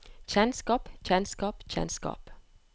kjennskap kjennskap kjennskap